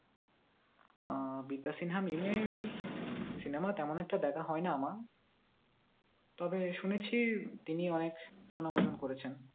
আহ বিদ্যা সিনহা মিম এর cinema তেমন একটা দেখা হয় না আমার তবে শুনেছি তিনি অনেক সুনাম অর্জন করেছেন